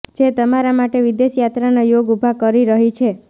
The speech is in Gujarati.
જે તમારા માટે વિદેશ યાત્રાના યોગ ઉભા કરી રહી છે